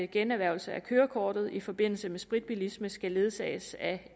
generhvervelse af kørekortet i forbindelse med spritbilisme skal ledsages af